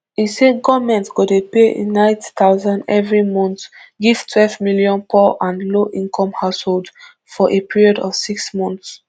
e say goment go dey pay neight thousand evri month give twelve million poor and lowincome households for a period of six months